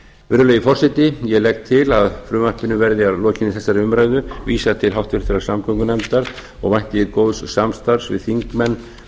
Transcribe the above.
virðulegi forseti ég legg til að frumvarpinu verði að lokinni þessari umræðu vísað til háttvirtrar samgöngunefndar og vænti ég góðs samstarfs við þingmenn